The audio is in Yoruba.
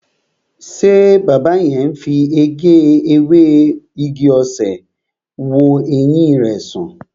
Ṣé baba yẹn fi ewé ewé igi-osè wo ẹyin rẹ san?